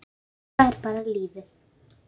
Jóga er bara lífið.